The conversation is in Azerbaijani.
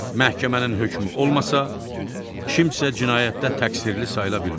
Məhkəmənin hökmü olmasa, kimsə cinayətdə təqsirli sayıla bilməz.